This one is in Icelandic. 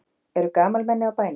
Eru gamalmenni á bænum?